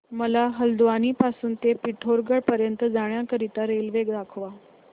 मला हलद्वानी पासून ते पिठोरागढ पर्यंत जाण्या करीता रेल्वे दाखवा